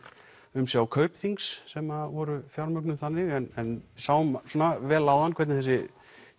umsjá Kaupþings sem að voru fjármögnuð þannig en sáum svona vel áðan hvernig þessi